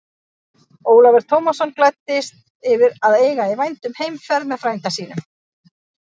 Ólafur Tómasson gladdist yfir að eiga í vændum heimferð með frænda sínum.